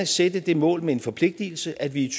sætte det mål med en forpligtelse at vi i